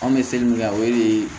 An bɛ seli min kɛ o de ye